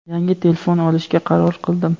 yangi telefon olishga qaror qildim.